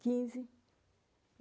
Quinze.